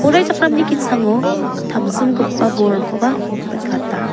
poraichakramni ki·sango tamsimgipa bolrangkoba nikata.